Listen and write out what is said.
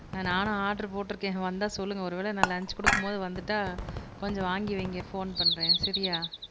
ஆஹ் நானும் ஆர்டர் போட்டுருக்கேன் வந்தா சொல்லுங்க ஒருவேளை நான் லன்ச் கொடுக்கும்போது வந்துட்டா கொஞ்சம் வாங்கி வைங்க போன் பண்றே சரியா?